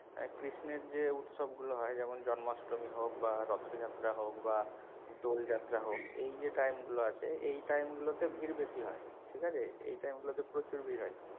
ক্রিস্নের যে উৎসব গুলো হয় যেমন জন্মাষ্টমী হোক বা রথযাত্রা হোক বা দোল যাত্রা হোক এই যে time গুলো আছে এই time গুলো তে ভিড় বেশি হয় ঠিক আছে? এই time গুলোতে প্রচুর ভিড় হয়।